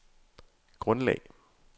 grundlag